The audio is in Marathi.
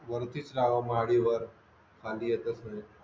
वरतीच राव्हा माडीवर फांदीयेतात पुढे